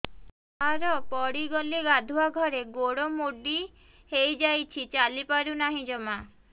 ସାର ପଡ଼ିଗଲି ଗାଧୁଆଘରେ ଗୋଡ ମୋଡି ହେଇଯାଇଛି ଚାଲିପାରୁ ନାହିଁ ଜମା